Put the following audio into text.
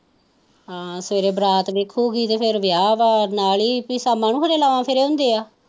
ਹਾਂ ਸਵੇਰੇ ਬਰਾਤ ਤੇ ਫੇਰ ਵਿਆਹ ਵਾ ਨਾਲੇ ਹੀ ਲਾਵਾ ਫੇਰੇ ਹੁੰਦੇ ਹੈ।